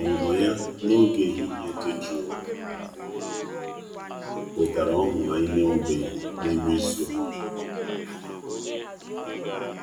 Ọnụnọ ya n'oge ehihie dị jụụ wetara ọñụ anyị na-enwebeghị n'ime izu a.